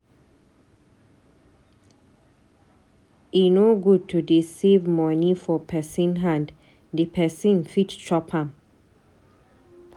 E no good to dey save money for pesin hand. Di pesin fit chop am.